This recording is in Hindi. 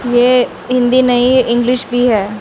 ये हिंदी नहीं इंग्लिश भी है।